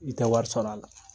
I tɛ wɔri sɔr'a la.